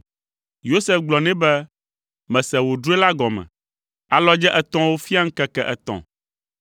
Yosef gblɔ nɛ be, “Mese wo drɔ̃e la gɔme. Alɔdze etɔ̃awo fia ŋkeke etɔ̃!